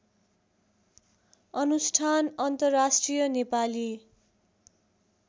अनुष्ठान अन्तर्राष्ट्रिय नेपाली